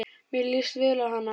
Mér líst vel á hana.